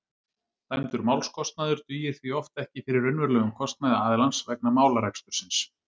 Dæmdur málskostnaður dugir því oft ekki fyrir raunverulegum kostnaði aðilans vegna málarekstursins.